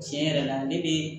Tiɲɛ yɛrɛ la ne bɛ